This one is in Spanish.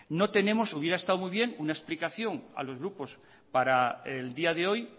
hubiera estado bien una explicación a los grupos para el día de hoy